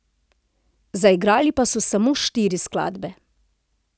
Zaigrali pa so samo štiri skladbe.